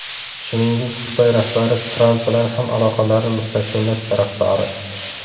Shuningdek, Xitoy rahbari Tramp bilan ham aloqalarni mustahkamlash tarafdori.